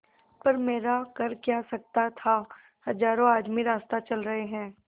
पर मेरा कर क्या सकता था हजारों आदमी रास्ता चल रहे हैं